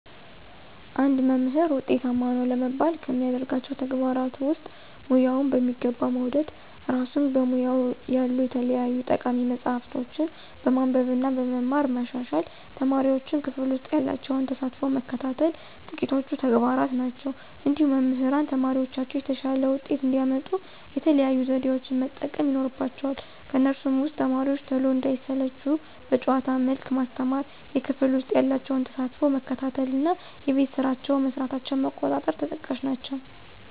አንድ መምህር ውጤታማ ነው ለመባል ከሚያደርጋቸው ተግባራት ውስጥ፦ ሙያውን በሚገባ መውደድ፣ እራሱን በሙያው ያሉ የተለያዩ ጠቃሚ መፅሀፎችን በማንበብ እና በመማር ማሻሻል፣ ተማሪዎቹን ክፍል ውሰጥ ያላቸውን ተሳትፎ መከታተል ጥቂቶቹ ተግባራት ናቸው። እንዲሁም መምህራን ተማሪዎቻቸው የተሻለ ውጤት እንዲያመጡ የተለያዩ ዘዴዎችን መጠቀም ይኖርባቸዋል ከነሱም ውስጥ፦ ተማሪዎቹ ቶሎ እንዳይሰለቹ በጨዋታ መልክ ማስተማር፣ የክፍል ውስጥ ያላቸውን ተሳትፎ መከታተል እና የቤት ስራቸውን መስራታቸውን መቆጣጠር ተጠቃሽ ናቸው።